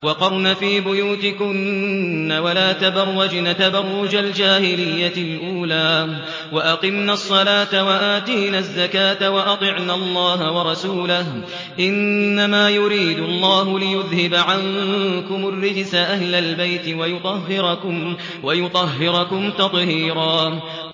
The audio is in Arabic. وَقَرْنَ فِي بُيُوتِكُنَّ وَلَا تَبَرَّجْنَ تَبَرُّجَ الْجَاهِلِيَّةِ الْأُولَىٰ ۖ وَأَقِمْنَ الصَّلَاةَ وَآتِينَ الزَّكَاةَ وَأَطِعْنَ اللَّهَ وَرَسُولَهُ ۚ إِنَّمَا يُرِيدُ اللَّهُ لِيُذْهِبَ عَنكُمُ الرِّجْسَ أَهْلَ الْبَيْتِ وَيُطَهِّرَكُمْ تَطْهِيرًا